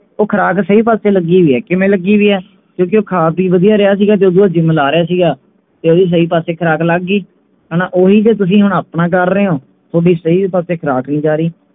ਉਹ ਖੁਰਾਕ ਸਹੀ ਪਾਸੇ ਲੱਗੀ ਵਈ ਹੈ ਕਿਮੇਂ ਲੱਗੀ ਵਈ ਹੈ ਕਿਓਂਕਿ ਉਹ ਖਾ ਪੀ ਵਧੀਆ ਰਿਹਾ ਸੀ ਗਾ ਤੇ ਅੱਗੋਂ gym ਲੈ ਰਿਹਾ ਸੀ ਗਾ ਤੇ ਓਹਦੀ ਸਹੀ ਪਾਸੇ ਖੁਰਾਕ ਲੱਗ ਗਈ ਹਣਾ ਓਹੀ ਤੇ ਤੁਸੀਂ ਹੁਣ ਆਪਣਾ ਕਰ ਰਹੇ ਹੋ ਥੋਡੀ ਸਹੀ ਪਾਸੇ ਖੁਰਾਕ ਵੀ ਜਾ ਰਹੀ ਹੈ